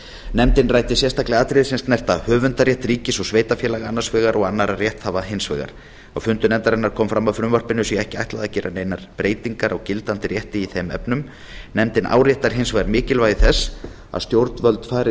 nefndin ræddi sérstaklega atriði sem snerta höfundarrétt ríkis og sveitarfélaga annars vegar og annarra rétthafa hins vegar á fundi nefndarinnar kom fram að frumvarpinu sé ekki ætlað að gera neinar breytingar á gildandi rétti í þeim efnum nefndin áréttar hins vegar mikilvægi þess að stjórnvöld fari